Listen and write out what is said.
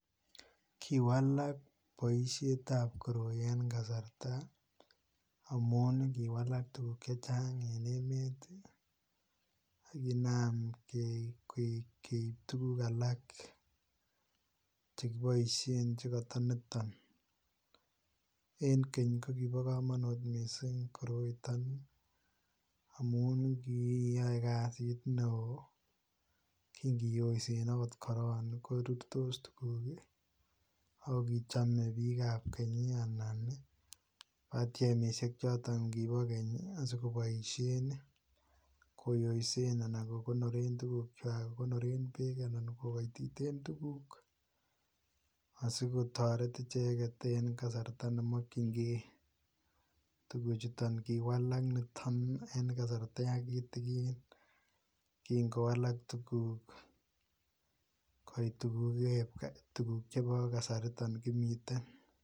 Kiwalak boisietab koroi en kasarta amun kiwalak tuguk che chang en emet ak kinam keip tuguk alak che kiboisien nekata nitok. En keny ko kibo kamanut mising koroiton amun kiyoe kasit neo kingiyoisen agot korok korurtos tuguk ago kichame biikab keny anan batiemisiek choto kibokeny asigoboisien koyoisen anan kokonoren beek anan kokaititen tuguk asikitaret icheget en kasarta ne mokyinge tuguchuton. Kiwalak niton en kasarta yankitikin kingowalak tuguk koit tuguk chebo kasariton kimiten.